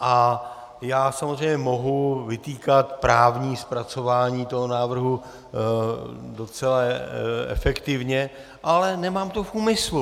A já samozřejmě mohu vytýkat právní zpracování toho návrhu docela efektivně, ale nemám to v úmyslu.